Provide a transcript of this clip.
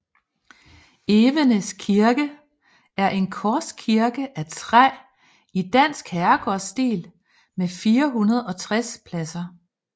Evenes Kirke er en korskirke af træ i dansk herregårdsstil med 460 pladser